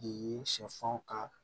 Ye sɛfan ka